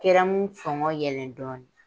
Kɛrɛmu sɔngɔn yɛlɛn dɔɔnin.